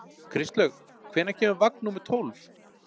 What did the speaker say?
Kristlaug, hvenær kemur vagn númer tólf?